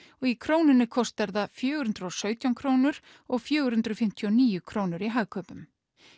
í Krónunni kostar það fjögur hundruð og sautján krónur og fjögur hundruð fimmtíu og níu krónur í Hagkaupum